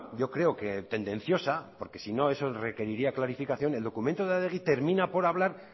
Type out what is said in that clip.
yo creo que tendenciosa porque si no eso requeriría clarificación el documento de adegi termina por hablar